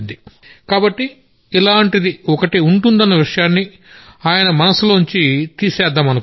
కాబట్టి ఇలాంటిది ఒకటి ఉంటుందన్న విషయాన్ని ఆయన మనసులోంచి తీసేద్దామనుకున్నాం